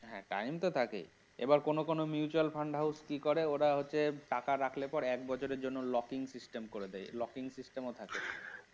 হ্যাঁ time তো থাকে, এবার কোন কোন mutual fund house কি করে ওরা হচ্ছে টাকা রাখলে পরে এক বছরের জন্য locking system করে দেয় locking system ও থাকে